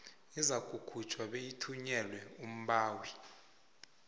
izakukhutjhwa beyithunyelelwe umbawi